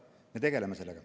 Me tegeleme sellega.